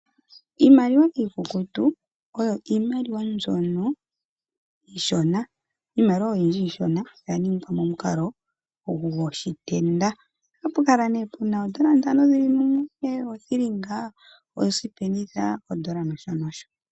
Iimaliwa iikukutu oyo iimaliwa mbyono iishona. Iimaliwa oyindji iishona oya ningwa momukalo gwoshitenda. Ohapu kala ihe pu na oodola ntano dhi li mumwe, oothilinga, oosipenitha, odola nosho nosho.